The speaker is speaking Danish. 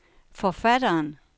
forfatteren